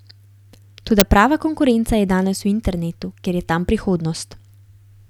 Toda prava konkurenca je danes v internetu, ker je tam prihodnost.